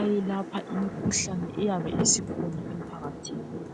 ayelapha imikhuhlane eyabe isikhona emphakathini.